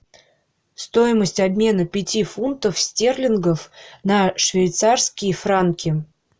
стоимость обмена пяти фунтов стерлингов на швейцарские франки